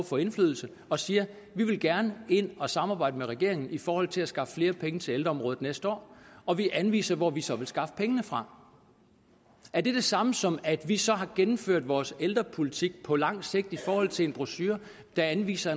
få indflydelse og siger vi vil gerne ind at samarbejde med regeringen i forhold til at skaffe flere penge til ældreområdet næste år og vi anviser hvor vi så vil skaffe pengene fra er det det samme som at vi så har gennemført vores ældrepolitik på lang sigt i forhold til en brochure der anviser